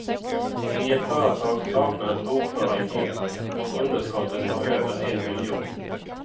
I ett företag saknades bokföring helt och underskottet var över en miljon.